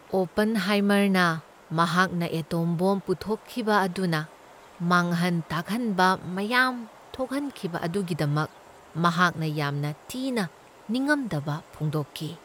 ꯑꯣꯄꯟꯍꯥꯏꯃꯔꯅ ꯃꯍꯥꯛꯅ atom bomb ꯄꯨꯊꯣꯛꯈꯤꯕ ꯑꯗꯨꯅ ꯃꯥꯡꯍꯟ ꯇꯥꯛꯍꯟꯕ ꯃꯌꯥꯝ ꯊꯣꯛꯍꯟꯈꯤꯕ ꯑꯗꯨꯒꯤꯗꯃꯛ ꯃꯍꯥꯛꯅ ꯌꯥꯝꯅ ꯊꯤꯅ ꯅꯤꯉꯝꯗꯕ ꯐꯣꯡꯗꯣꯛꯈꯤ꯫